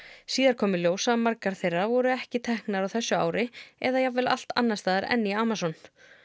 síðar kom í ljós að margar þeirra voru ekki teknar á þessu ári eða jafnvel allt annars staðar en í Amazon